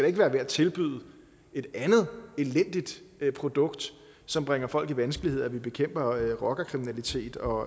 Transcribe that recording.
ikke være ved at tilbyde et andet elendigt produkt som bringer folk i vanskeligheder at vi bekæmper rockerkriminalitet og